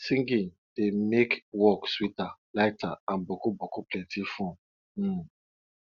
singing dey make work sweeter lighter and boku boku plenti fun um